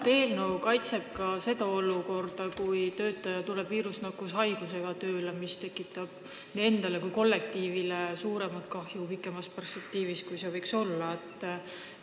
Kas eelnõu hõlmab seda olukorda, kui mõni töötaja tuleb tööle viirusnakkushaigusega, tekitades endale ja kollektiivile pikemas perspektiivis suuremat kahju, kui oleks võinud muidu olla?